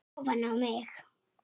Aðeins þrjú.